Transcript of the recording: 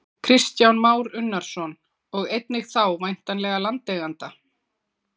Kristján Már Unnarsson: Og einnig þá væntanlega landeigenda?